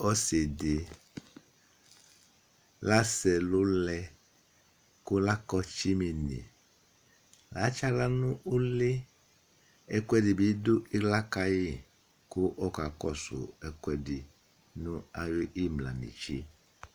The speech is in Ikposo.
Ɔsi di lasɛ ɛlu lɛ kʋ lakɔ tsimini Latsi aɣla nʋ ʋli Ɛkʋɛdi bi du ila ka yi kʋ ɔkakɔsu ɛkʋɛdi nʋ ayʋ imla netse